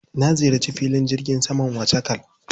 Na ziyarci filin jirgin saman Wachakal.